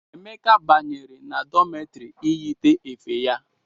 Emeka banyere na dọmetri iyite efe ya.